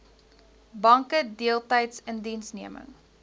banke deeltydse indiensneming